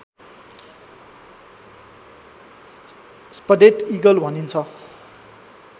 spotted eagle भनिन्छ